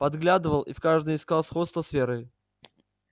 подглядывал и в каждой искал сходство с верой